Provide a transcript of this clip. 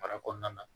Baara kɔnɔna na